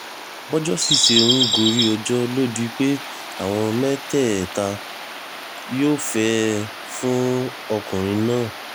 bọ́jọ́ sì ṣe ń gorí ọjọ́ ló di pé àwọn mẹ́tẹ̀ẹ̀ta yófẹ̀ẹ́ fún ọkùnrin náà